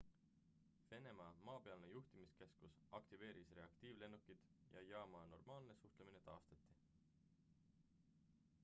venemaa maapealne juhtimiskeskus aktiveeris reaktiivlennukid ja jaama normaalne suhtumine taastati